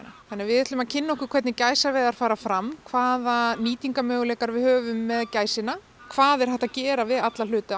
þannig að við ætlum að kynna okkur hvernig gæsaveiðar fara fram hvaða nýtingarmöguleika við höfum með gæsina hvað er hægt að gera við alla hluta